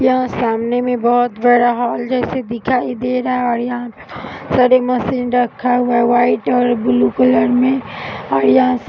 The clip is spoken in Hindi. यहाँ सामने में बोहोत बड़ा हॉल जैसा दिखाई दे रहा है यहाँ पे बोहोत सारे मशीन रखा हुआ है वाइट और ब्लू कलर में और यहाँ --